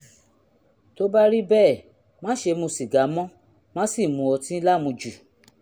tó bá rí bẹ́ẹ̀ má ṣe mu sìgá mọ́ má sì mu ọtí lámujù